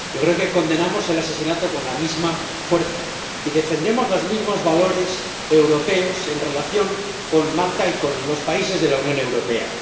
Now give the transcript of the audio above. Yo creo que condenamos el asesinato con la misma fuerza y defendemos los mismos valores europeos en relación con Malta y con los países de la Unión Europea.